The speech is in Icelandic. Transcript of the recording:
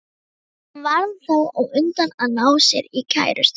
Hann varð þá á undan að ná sér í kærustu.